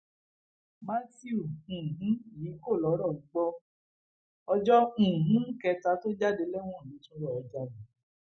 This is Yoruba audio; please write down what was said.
mathew um yìí kò lọrọọ gbọ ọ ọjọ um kẹta tó jáde lẹwọn ló tún lọọ jalè